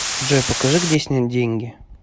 джой покажи где снять деньги